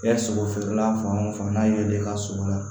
Kɛ sogo feerela fan o fan n'a ye i ka sogo la